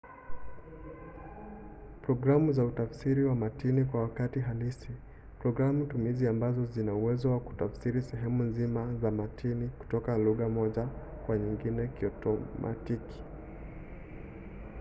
programu za utafsiri wa matini kwa wakati halisi – programu-tumizi ambazo zina uwezo wa kutafsiri sehemu nzima za matini kutoka lugha moja kwa nyingine kiotomatiki